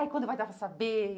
Ai, quando vai dar pra saber?